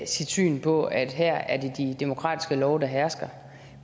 sit syn på at her er det de demokratiske love der hersker